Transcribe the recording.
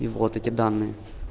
и вот эти данные